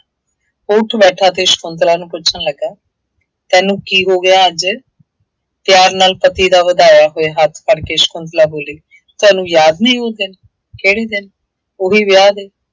ਉਹ ਉੱਠ ਬੈਠਾ ਅਤੇ ਸ਼ੰਕੁਤਲਾ ਨੂੰ ਪੁੱਛਣ ਲੱਗਾ। ਤੈਨੂੰ ਕੀ ਹੋ ਗਿਆ ਅੱਜ ਪਿਆਰ ਨਾਲ ਪਤੀ ਦਾ ਵਧਾਇਆ ਹੋਇਆ ਹੱਥ ਫੜ੍ਹ ਕੇ ਸ਼ੰਕੁਤਲਾ ਬੋਲੀ, ਤੁਹਾਨੂੰ ਯਾਦ ਨਹੀਂ ਉਹ ਦਿਨ, ਕਿਹੜੇ ਦਿਨ, ਉਹੀ ਵਿਆਹ ਦੇ।